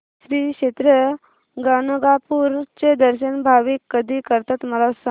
श्री क्षेत्र गाणगापूर चे दर्शन भाविक कधी करतात मला सांग